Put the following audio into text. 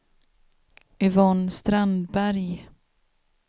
Yvonne Strandberg